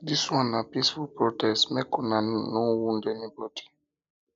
dis one na peaceful protest make una no una no wound anybodi